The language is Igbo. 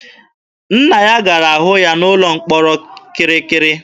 Nna ya gara hụ ya n'ụlọ mkpọrọ kirikiri.